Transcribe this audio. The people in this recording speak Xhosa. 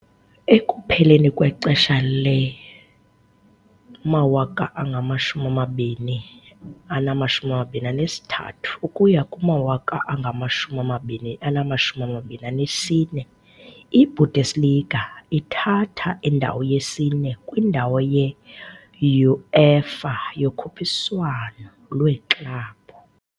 Ekupheleni kwexesha le-2023-2024, iBundesliga ithatha indawo yesi-4 kwindawo ye -UEFA yokhuphiswano lweeklabhu.